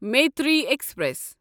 Maitree express